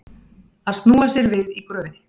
Að snúa sér við í gröfinni